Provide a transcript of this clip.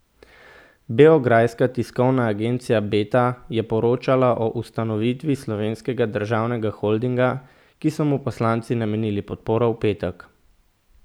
Beograjska tiskovna agencija Beta je poročala o ustanovitvi slovenskega državnega holdinga, ki so mu poslanci namenili podporo v petek.